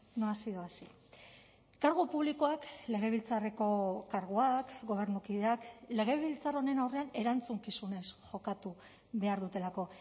no ha sido así kargu publikoak legebiltzarreko karguak gobernukideak legebiltzar honen aurrean erantzukizunez jokatu behar dutelako